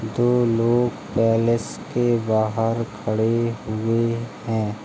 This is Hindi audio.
दो लोग पैलेस के बाहर खड़े हुए हैं।